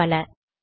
மேலும் பல